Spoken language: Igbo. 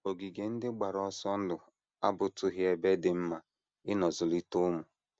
Ogige ndị gbara ọsọ ndụ abụtụghị ebe dị mma ịnọ zụlite ụmụ.